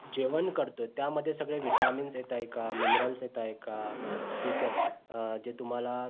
जेवण करतोय त्यामध्ये सगळे vitamins येताय का minerals येतय का ठीक आहे जे तुम्हाला